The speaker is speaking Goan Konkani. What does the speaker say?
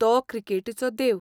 तो 'क्रिकेटीचो देव'.